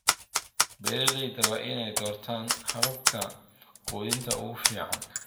Beeralayda waa inay doortaan hababka quudinta ugu fiican.